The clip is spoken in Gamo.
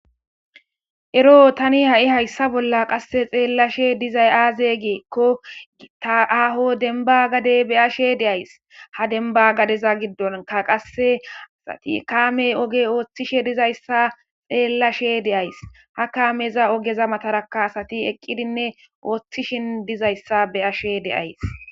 Ero tani ha'i hayssa bolla qasse xeellashe dizay aaze geekko gita aho denba gade beyashe deays ha denba gadeza giddonka qasseasati kaamey oge ooththishe dizayssa xeellashe de'ays ha kaameza ogeza matarakka asati eqqidinne ooththishin dizayssa be ashe deays.